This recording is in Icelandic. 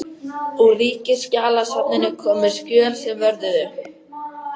Úr Ríkisskjalasafninu komu skjöl sem vörðuðu